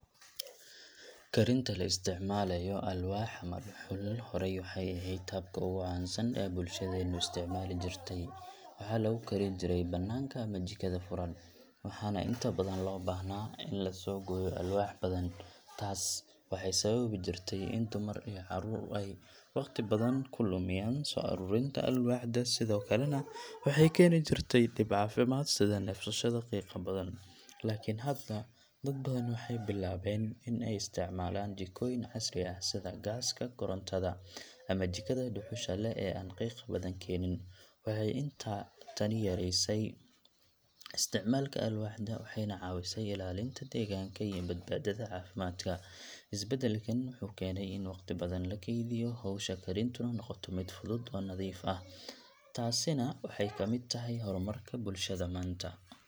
Karinta la isticmaalayo alwaax ama dhuxul horey waxay ahayd habka ugu caansan ee bulshadeennu isticmaali jirtay. Waxaa lagu kari jiray banaanka ama jikada furan, waxaana inta badan loo baahnaa in la soo gooyo alwaax badan. Taas waxay sababi jirtay in dumar iyo carruur ay waqti badan ku lumiyaan soo ururinta alwaaxda, sidoo kalena waxay keeni jirtay dhib caafimaad sida neefsashada qiiqa badan. Laakiin hadda dad badan waxay bilaabeen in ay isticmaalaan jikooyin casri ah sida gaaska, korontada, ama jikada dhuxusha leh ee aan qiiqa badan keenin. Waxay tani yaraysay isticmaalka alwaaxda, waxayna caawisay ilaalinta deegaanka iyo badbaadada caafimaadka. Isbeddelkan wuxuu keenay in waqti badan la keydiyo, hawsha karintuna noqoto mid fudud oo nadiif ah. Taasina waxay ka mid tahay horumarka bulshada maanta.